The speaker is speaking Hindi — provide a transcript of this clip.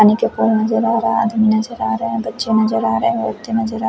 पानी के ऊपर नजर आ रहा है आदमी नजर आ रहा है बच्चे नजर आ रहे हैं व्यक्ति नजर आ--